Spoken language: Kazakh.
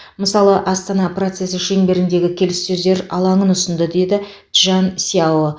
мысалы астана процесі шеңберіндегі келіссөздер алаңын ұсынды деді чжан сяо